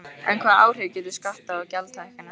En hvaða áhrif gætu skatta- og gjaldahækkanir haft?